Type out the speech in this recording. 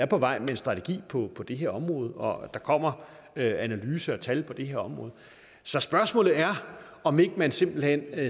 på vej med en strategi på det her område og at der kommer analyser og tal på det her område så spørgsmålet er om ikke man simpelt hen